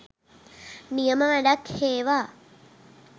නියම වැඩක් හේවා